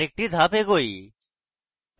আরেকটি ধাপ এগোই